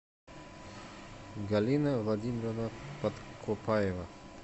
галина владимировна подкупаева